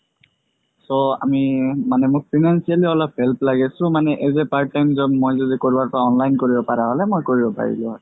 so আমি মানে মই financially মোক অলপ help লাগে so মানে as a part time job মই যদি কৰোবাৰ পৰা online কৰিব পাৰা হ'লে মই কৰিব পাৰিলো হয়